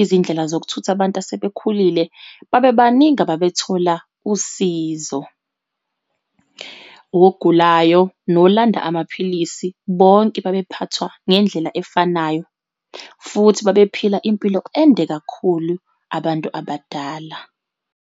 izindlela zokuthutha abantu asebekhulile, babebaningi ababethola usizo. Wogulayo nolanda amaphilisi, bonke babephathwa ngendlela efanayo, futhi babephila impilo ende kakhulu abantu abadala.